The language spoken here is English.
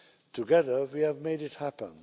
Together, we have made it happen.